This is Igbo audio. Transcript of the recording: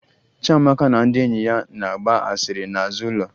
Chiamaka na ndị enyi ya na-agba asịrị n'azụ ụlọ